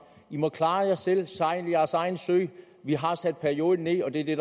i må klare jer selv sejle jeres egen sø vi har sat perioden ned og det er det